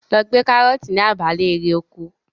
Lọ gbé karọ́ọ̀tì ní abala erè oko.